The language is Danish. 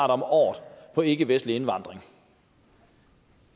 om året på ikkevestlig indvandring